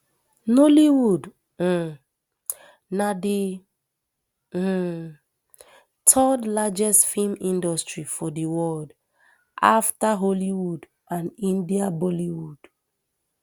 nollywood um na di um third largest feem industry for di world afta hollywood and india bollywood